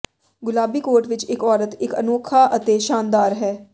ਗੁਲਾਬੀ ਕੋਟ ਵਿਚ ਇਕ ਔਰਤ ਇਕ ਅਨੋਖਾ ਅਤੇ ਸ਼ਾਨਦਾਰ ਹੈ